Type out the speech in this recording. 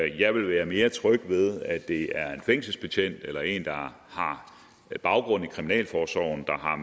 jeg vil være mere tryg ved at det er en fængselsbetjent eller en der har baggrund i kriminalforsorgen der har